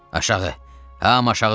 Aşağı! Hamı aşağı düşsün!